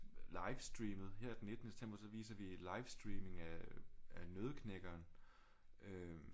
Livestreamet her den 19 September så viser vi livestreaming af Nøddeknækkeren øh